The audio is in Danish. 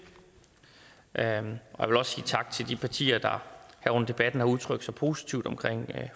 jeg vil også sige tak til de partier der her under debatten har udtrykt sig positivt om